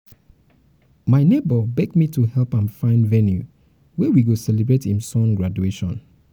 my nebor beg me to help um am find venue wey we go celebrate him son graduation.